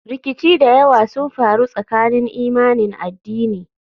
Rikici da yawa sun faru tsakanin imanin addini.